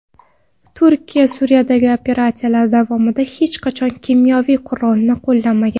Turkiya Suriyadagi operatsiyalar davomida hech qachon kimyoviy qurolni qo‘llamagan.